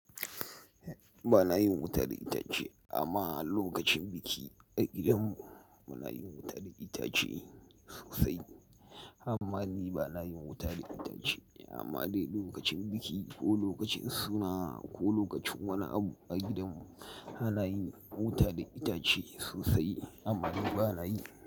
Ba na yin wuta da itace, amma lokacin biki a gidanmu muna yin wuta da itace sosai. Amma ni ba na yin wuta da itace. Amma dai lokacin biki ko lokacin suna ko lokacin wani abu a gidanmu, ana yin wuta da itace sosai. Amma ni ba na yi.